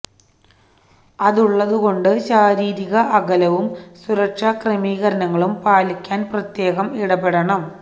അതുള്ക്കൊണ്ട് ശാരീരിക അകലവും സുരക്ഷാ ക്രമീകരണങ്ങളും പാലിക്കാന് പ്രത്യേകം ഇടപെടണം